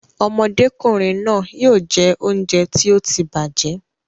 Ọmọdékùnrin náà yóò jẹ oúnjẹ tí ó ti bàjẹ́